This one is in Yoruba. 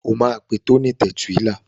O máa pe Tony Tẹ̀túílà.